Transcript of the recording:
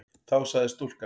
Þá sagði stúlkan